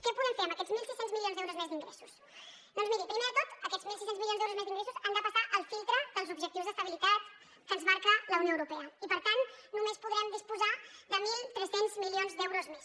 què podem fer amb aquests mil sis cents milions d’euros més d’ingressos doncs miri primer de tot aquests mil sis cents milions d’euros més d’ingressos han de passar el filtre dels objectius d’estabilitat que ens marca la unió europea i per tant només podrem disposar de mil tres cents milions d’euros més